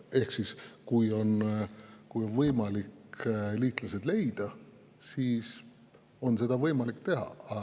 Ehk kui on võimalik liitlased leida, siis on võimalik seda teha.